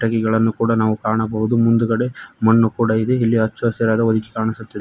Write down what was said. ಇಗಳನ್ನು ಕೂಡ ನಾವು ಕಾಣಬಹುದು ಮುಂದ್ಗಡೆ ಮಣ್ಣು ಕೂಡ ಇದೆ ಇಲ್ಲಿ ಹಚ್ಚ ಹಸಿರಾದ ಹೊದಿಕಿ ಕಾಣಿಸುತ್ತಿದೆ.